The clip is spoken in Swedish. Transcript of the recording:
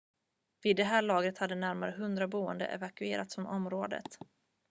vid det laget hade närmare 100 boende evakuerats från området